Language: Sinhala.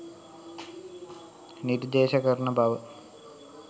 නිර්දේශ කරන බව